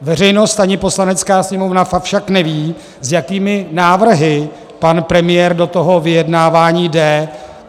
Veřejnost ani Poslanecká sněmovna však nevědí, s jakými návrhy pan premiér do toho vyjednávání jde.